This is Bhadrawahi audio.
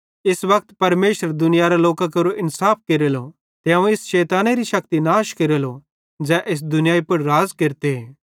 इस वक्त परमेशर दुनियारे लोकां केरो इन्साफ केरेलो ते अवं इस शैतानेरी शक्ति नाश केरेलो ज़ै इस दुनियाई पुड़ राज़ केरते